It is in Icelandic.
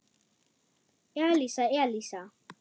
Elísa, Elísa!